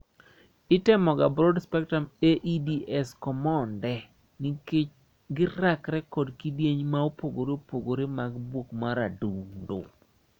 Itemoga Broad spectrum AEDs komonde nikech girakre kod kidieny maopogore opogore mag buok mar adundo.